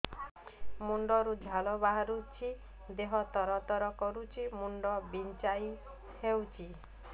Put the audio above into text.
ମୁଣ୍ଡ ରୁ ଝାଳ ବହୁଛି ଦେହ ତର ତର କରୁଛି ମୁଣ୍ଡ ବିଞ୍ଛାଇ ହଉଛି